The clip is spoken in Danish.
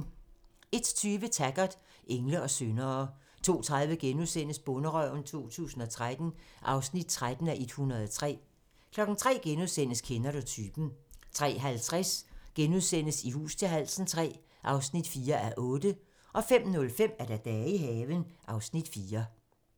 01:20: Taggart: Engle og syndere 02:30: Bonderøven 2013 (13:103)* 03:00: Kender du typen? * 03:50: I hus til halsen III (4:8)* 05:05: Dage i haven (Afs. 4)